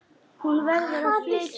Hún verður að flytja.